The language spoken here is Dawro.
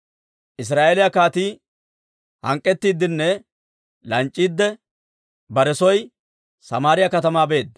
Israa'eeliyaa kaatii hank'k'ettiidinne lanc'c'iidde, bare soo Samaariyaa katamaa beedda.